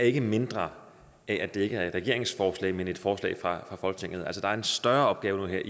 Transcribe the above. ikke mindre af at det ikke er et regeringsforslag men et forslag fra folketinget altså der er en større opgave